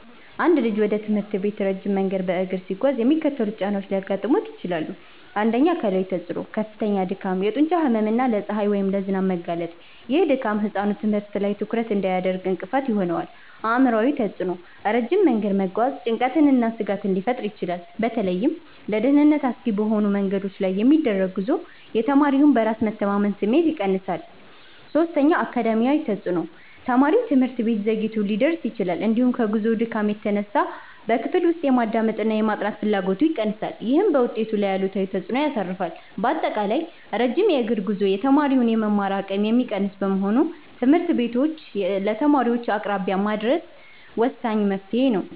አንድ ልጅ ወደ ትምህርት ቤት ረጅም መንገድ በእግር ሲጓዝ የሚከተሉት ጫናዎች ሊያጋጥሙት ይችላል፦ 1. አካላዊ ተፅዕኖ፦ ከፍተኛ ድካም፣ የጡንቻ ህመም እና ለፀሐይ ወይም ለዝናብ መጋለጥ። ይህ ድካም ህጻኑ ትምህርት ላይ ትኩረት እንዳያደርግ እንቅፋት ይሆናል። 2. አእምሯዊ ተፅዕኖ፦ ረጅም መንገድ መጓዝ ጭንቀትንና ስጋትን ሊፈጥር ይችላል። በተለይም ለደህንነት አስጊ በሆኑ መንገዶች ላይ የሚደረግ ጉዞ የተማሪውን በራስ የመተማመን ስሜት ይቀንሳል። 3. አካዳሚያዊ ተፅዕኖ፦ ተማሪው ትምህርት ቤት ዘግይቶ ሊደርስ ይችላል፤ እንዲሁም ከጉዞው ድካም የተነሳ በክፍል ውስጥ የማዳመጥና የማጥናት ፍላጎቱ ይቀንሳል። ይህም በውጤቱ ላይ አሉታዊ ተፅዕኖ ያሳርፋል። ባጠቃላይ፣ ረጅም የእግር ጉዞ የተማሪውን የመማር አቅም የሚቀንስ በመሆኑ ትምህርት ቤቶችን ለተማሪዎች አቅራቢያ ማድረስ ወሳኝ መፍትሔ ነው።